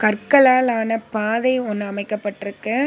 கற்களால் ஆன பாதை ஒன்னு அமைக்கப்பட்ருக்கு.